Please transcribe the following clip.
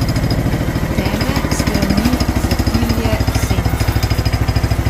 Teme, strani, zatilje, senca.